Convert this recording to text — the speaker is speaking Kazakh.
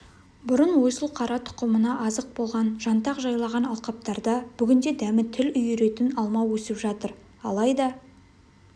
бұрын ойсылқара тұқымына азық болған жантақ жайлаған алқаптарда бүгінде дәмі тіл үйіретін алма өсіп жатыр алайда